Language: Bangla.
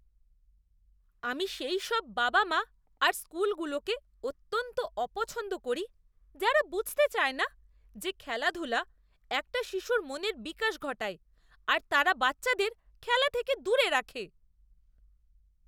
আমি সেইসব বাবা মা আর স্কুলগুলোকে অত্যন্ত অপছন্দ করি যারা বুঝতে চায় না যে খেলাধূলা একটা শিশুর মনের বিকাশ ঘটায় আর তারা বাচ্চাদের খেলা থেকে দূরে রাখে।